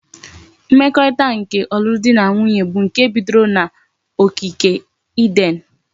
Mmekorita nke olulu di na nwunye bu nke bidoro na ogigi eden